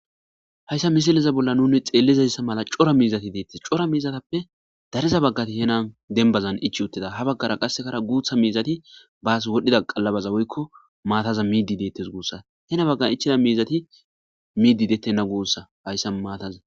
Haysa misileza bolla nun xelizaysa mala cora mizati detese cora mizatappe dariza bagati henan denbazan ichi utida ha bagara qasekkara gutha mizati bas wodhida qalabaza woyko maataza midi detese gussa hen bagan ichida mizati midi detena gussa haysa maataza